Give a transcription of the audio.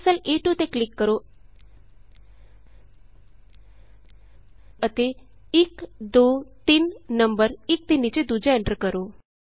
ਇਸ ਲਈ cell A two ਤੇ ਕਲਿਕ ਕਰੋ ਅਤੇ 123 ਨੰਬਰ ਇਕ ਦੇ ਨੀਚੇ ਦੂਜਾ ਐਂਟਰ ਕਰੋ